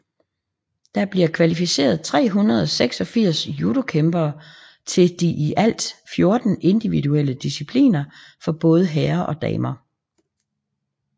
Der bliver kvalificeret 386 judokæmpere til de i alt 14 individuelle discipliner for både herrer og damer